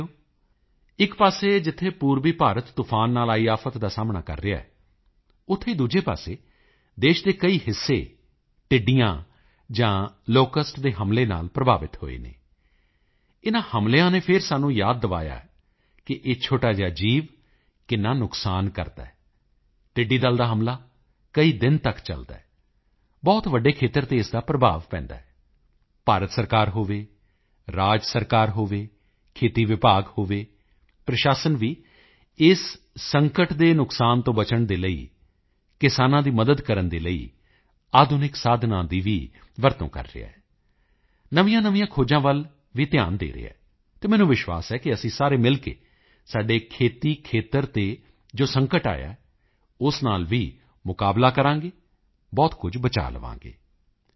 ਸਾਥੀਓ ਇੱਕ ਪਾਸੇ ਜਿੱਥੇ ਪੂਰਬੀ ਭਾਰਤ ਤੂਫ਼ਾਨ ਨਾਲ ਆਈ ਆਫ਼ਤ ਦਾ ਸਾਹਮਣਾ ਕਰ ਰਿਹਾ ਹੈ ਉੱਥੇ ਹੀ ਦੂਸਰੇ ਪਾਸੇ ਦੇਸ਼ ਦੇ ਕਈ ਹਿੱਸੇ ਟਿੱਡੀਆਂ ਜਾਂ ਲੋਕਸਟ ਦੇ ਹਮਲੇ ਨਾਲ ਪ੍ਰਭਾਵਿਤ ਹੋਏ ਹਨ ਇਨ੍ਹਾਂ ਹਮਲਿਆਂ ਨੇ ਫਿਰ ਸਾਨੂੰ ਯਾਦ ਕਰਵਾਇਆ ਹੈ ਕਿ ਇਹ ਛੋਟਾ ਜਿਹਾ ਜੀਵ ਕਿੰਨਾ ਨੁਕਸਾਨ ਕਰਦਾ ਹੈ ਟਿੱਡੀ ਦਲ ਦਾ ਹਮਲਾ ਕਈ ਦਿਨਾਂ ਤੱਕ ਚਲਦਾ ਹੈ ਬਹੁਤ ਵੱਡੇ ਖੇਤਰ ਤੇ ਇਸ ਦਾ ਪ੍ਰਭਾਵ ਪੈਂਦਾ ਹੈ ਭਾਰਤ ਸਰਕਾਰ ਹੋਵੇ ਰਾਜ ਸਰਕਾਰ ਹੋਵੇ ਖੇਤੀ ਵਿਭਾਗ ਹੋਵੇ ਪ੍ਰਸ਼ਾਸਨ ਵੀ ਇਸ ਸੰਕਟ ਦੇ ਨੁਕਸਾਨ ਤੋਂ ਬਚਣ ਦੇ ਲਈ ਕਿਸਾਨਾਂ ਦੀ ਮਦਦ ਕਰਨ ਦੇ ਲਈ ਆਧੁਨਿਕ ਸਾਧਨਾਂ ਦੀ ਵੀ ਵਰਤੋਂ ਕਰ ਰਿਹਾ ਹੈ ਨਵੀਆਂਨਵੀਆਂ ਖੋਜਾਂ ਵੱਲ ਵੀ ਧਿਆਨ ਦੇ ਰਿਹਾ ਹੈ ਅਤੇ ਮੈਨੂੰ ਵਿਸ਼ਵਾਸ ਹੈ ਕਿ ਅਸੀਂ ਸਾਰੇ ਮਿਲ ਕੇ ਸਾਡੇ ਖੇਤੀ ਖੇਤਰ ਤੇ ਜੋ ਸੰਕਟ ਆਇਆ ਹੈ ਉਸ ਨਾਲ ਵੀ ਮੁਕਾਬਲਾ ਕਰਾਂਗੇ ਬਹੁਤ ਕੁਝ ਬਚਾਅ ਲਵਾਂਗੇ